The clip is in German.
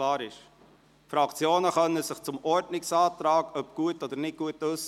Die Fraktionen können sich zu den Ordnungsanträgen äussern, dahingehend, ob diese gut oder nicht gut sind.